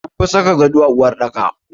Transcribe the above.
An fi saka gado a uwarɗaka.